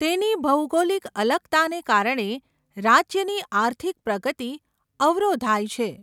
તેની ભૌગોલિક અલગતાને કારણે રાજ્યની આર્થિક પ્રગતિ અવરોધાય છે.